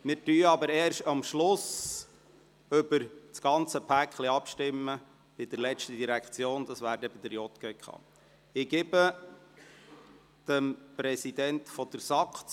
Wir werden jedoch erst am Schluss über das ganze Paket abstimmen, das heisst wenn wir bei bei der letzten Direktion, der JGK, angelangt sind.